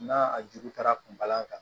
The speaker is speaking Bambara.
N'a ju ta kunba kan